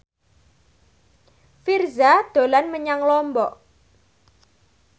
Virzha dolan menyang Lombok